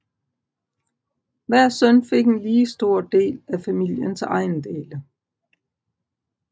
Hver søn fik en lige stor del af familiens ejendele